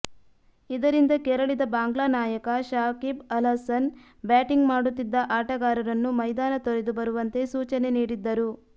ಇದರಿಂದ ಕೆರಳಿದ ಬಾಂಗ್ಲಾ ನಾಯಕ ಶಾಕಿಬ್ ಅಲ್ಹಸನ್ ಬ್ಯಾಟಿಂಗ್ ಮಾಡುತ್ತಿದ್ದ ಆಟಗಾರರನ್ನು ಮೈದಾನ ತೊರೆದು ಬರುವಂತೆ ಸೂಚನೆ ನೀಡಿದ್ದರು